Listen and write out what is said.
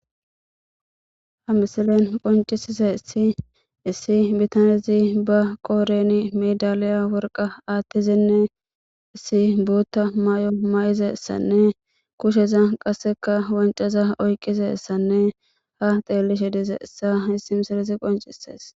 ha misilen qoncisise ssi issi bitanezi ba qooreni medaliya worqa aattizinne issi buutta may7o may7izessanne kusheza qasseka wancaza oyqqize ssanne ha xeellishe dise essa hissi misilezi qoncisees